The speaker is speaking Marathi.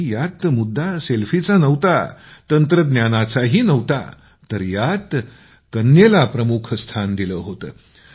आणि यात मुद्दा सेल्फीचा नव्हता तर यात कन्येला प्रमुख स्थान दिलं होतं